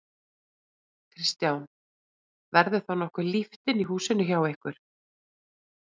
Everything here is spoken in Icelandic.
Kristján: Verður þá nokkuð líft inni í húsinu hjá ykkur?